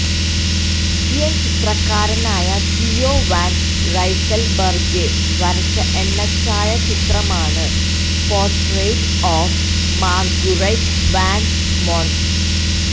Belgian ചിത്രകാരനായ Theo van Rysselberghe വരച്ച എണ്ണച്ചായാചിത്രമാണ് portrait of Marguerite van Mons